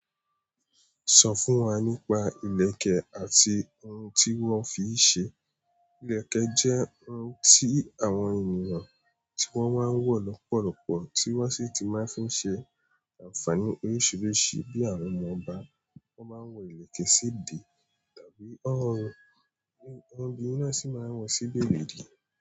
Sọ fún wa nípa ìlẹ̀kẹ̀ àti oun tí wọ́n fi ń ṣe. Ìlẹ̀kẹ̀ jẹ́ oun tí àwọn ènìyàn —tí wọ́n máa ń wọ lọ́pọ̀lọpọ̀ tí wọ́n sì ti máa ń fi ṣe ànfààní oríṣiríṣi bí àwọn ọmọ ọba won máa ń wọ ìlẹ̀kẹ̀ sí di –tàbí Ọ̀run, —awon obinrin náà sì máa wọ sí bebedí.